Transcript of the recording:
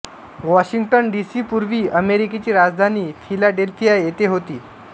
Washington D C पूर्वी अमेरिकेची राजधानी फिलाडेल्फिया येथे होती